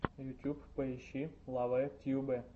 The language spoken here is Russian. ютуб поищи лавэ тьюбэ